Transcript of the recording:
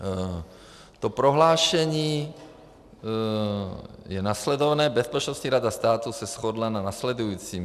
To prohlášení je následovné: Bezpečnostní rada státu se shodla na následujícím.